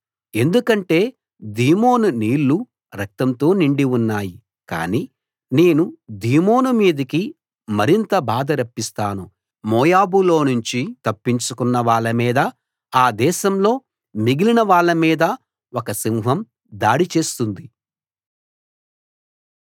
ఎందుకంటే దీమోను నీళ్ళు రక్తంతో నిండి ఉన్నాయి కాని నేను దీమోను మీదకి మరింత బాధ రప్పిస్తాను మోయాబులోనుంచి తప్పించుకున్న వాళ్ళ మీద ఆ దేశంలో మిగిలిన వాళ్ళ మీద ఒక సింహం దాడి చేస్తుంది